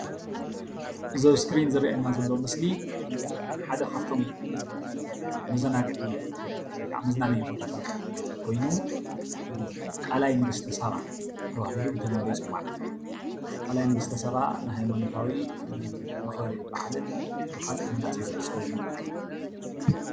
እዚ ኣብ እስክሪን ዝረአየና ዘሎ ምስሊ ሓደ ካብ እቶም መዘናጊዒ ወይ ከዓ መዝናነይ ቦታታት ኮይኑ ቃላይ ንግስተ ሳባ ተባሂሉ ብተለምዶ ይፅዋዕ፡፡ ቃላይ ንግስተ ሳባ ንሃይማኖታዊ መክበሪ በዓልን ንካልኦት መናእሰይ ዝሕፀብሉን እዩ፡፡